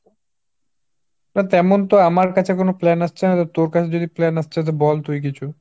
না তেমন তো আমার কাছে কোন plan আসছে না, তোর কাছে যদি plan আসছে তো বল তুই কিছু।